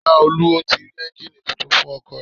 Laolu o ti rí ẹ́ngìnì titun fún ọkọ̀ rẹ̀.